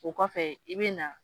O kɔfɛ i bɛ na